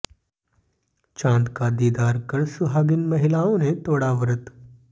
चांद का दीदार कर सुहागिन महिलाओं ने तोड़ा व्रत